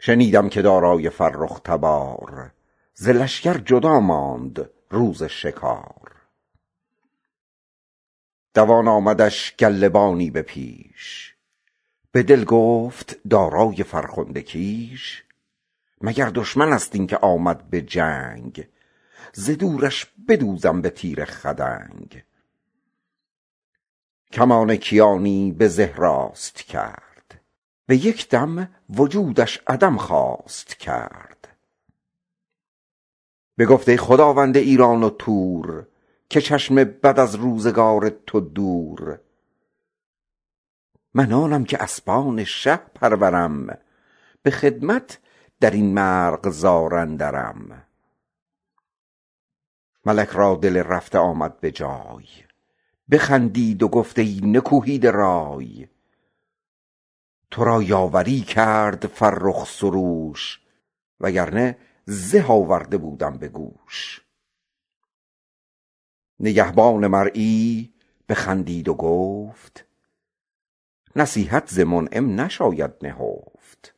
شنیدم که دارای فرخ تبار ز لشکر جدا ماند روز شکار دوان آمدش گله بانی به پیش به دل گفت دارای فرخنده کیش مگر دشمن است این که آمد به جنگ ز دورش بدوزم به تیر خدنگ کمان کیانی به زه راست کرد به یک دم وجودش عدم خواست کرد بگفت ای خداوند ایران و تور که چشم بد از روزگار تو دور من آنم که اسبان شه پرورم به خدمت بدین مرغزار اندرم ملک را دل رفته آمد به جای بخندید و گفت ای نکوهیده رای تو را یاوری کرد فرخ سروش وگر نه زه آورده بودم به گوش نگهبان مرعی بخندید و گفت نصیحت ز منعم نباید نهفت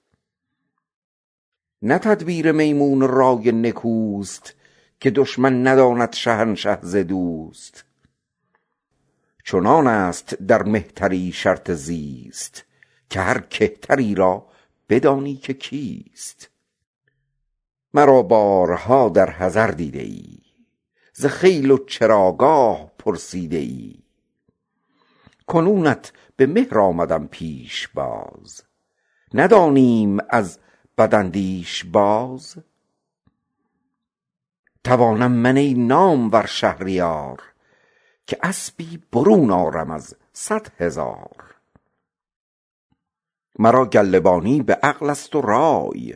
نه تدبیر محمود و رای نکوست که دشمن نداند شهنشه ز دوست چنان است در مهتری شرط زیست که هر کهتری را بدانی که کیست مرا بارها در حضر دیده ای ز خیل و چراگاه پرسیده ای کنونت به مهر آمدم پیشباز نمی دانیم از بداندیش باز توانم من ای نامور شهریار که اسبی برون آرم از صد هزار مرا گله بانی به عقل است و رای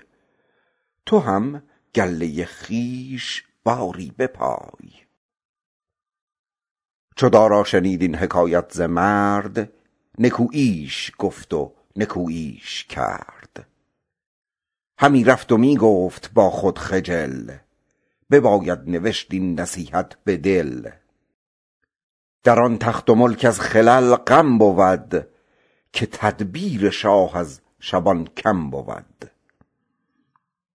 تو هم گله خویش باری بپای در آن تخت و ملک از خلل غم بود که تدبیر شاه از شبان کم بود